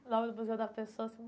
Em nome do Museu da Pessoa assim.